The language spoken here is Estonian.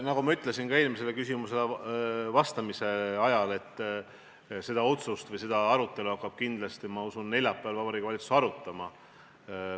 Nagu ma ütlesin ka eelmisele küsimusele vastamise ajal, seda otsust hakkab, ma usun, neljapäeval Vabariigi Valitsus arutama.